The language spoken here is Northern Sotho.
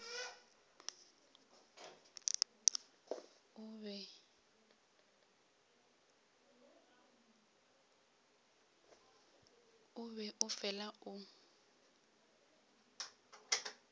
o be o fela o